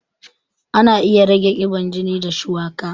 Ana iya rage ƙiban jini da shuwaka